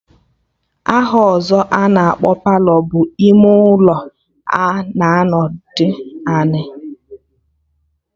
Aha ọzọ a na-akpọ Palọ bụ ime ụlọ a na-anọdụ ala